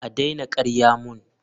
A daina karya mun!